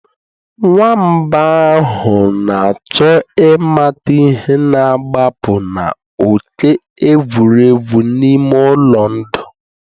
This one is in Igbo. Nwamba ahụ na-achọ ịmata ihe na-agbapụ na òké egwuregwu n'ime ụlọ ndụ